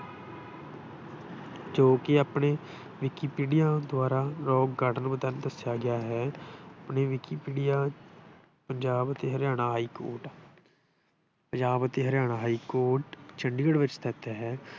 ਜੋ ਕਿ ਆਪਣੇ ਵਿਕੀਪੀਡੀਆ ਦੁਆਰਾ ਰੌਕ ਗਾਰਡਨ ਦੱਸਿਆ ਗਿਆ ਹੈ। ਆਪਣੇ ਵਿਕੀਪੀਡੀਆ ਪੰਜਾਬ ਅਤੇ ਹਰਿਆਣਾ ਹਾਈਕੋਰਟ ਪੰਜਾਬ ਅਤੇ ਹਰਿਆਣਾ ਹਾਈਕੋਰਟ ਚੰਡੀਗੜ੍ਹ ਵਿੱਚ ਸਥਿਤ ਹੈ।